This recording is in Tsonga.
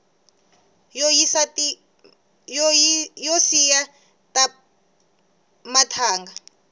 yo siya mathanga